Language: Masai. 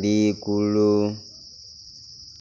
likulu...